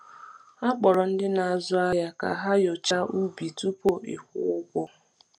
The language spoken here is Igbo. A kpọrọ ndị na-azụ ahịa ka ha nyochaa ubi tupu ịkwụ ụgwọ.